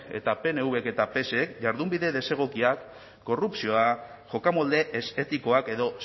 eta pnvk eta psek jardunbide desegokia korrupzioa jokamolde ez etikoak edo